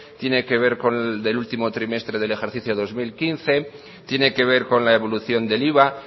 tiene que ver con el último trimestre del ejercicio del dos mil quince tiene que ver con la evolución del iva